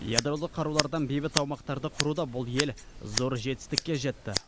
ядролық қарулардан бейбіт аумақтарды құруда бұл ел зор жетістікке жетті